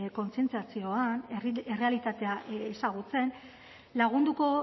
kontzientziazioan errealitatea ezagutzen lagunduko